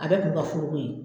A bɛɛ kun ka furu ko ye.